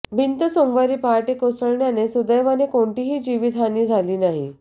भिंत सोमवारी पहाटे कोसळल्याने सुदैवाने कोणतीही जीवितहानी झाली नाही